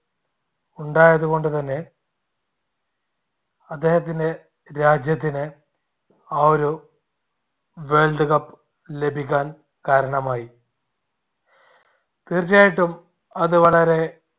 ഉണ്ടായത് കൊണ്ടുതന്നെ അദ്ദേഹത്തിന്റെ രാജ്യത്തിന് ആ ഒരു world cup ലഭിക്കാൻ കാരണമായി. തീർച്ചയായിട്ടും അത് വളരെ